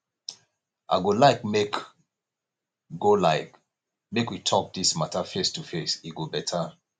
i go like make go like make we talk this matter face to face e go better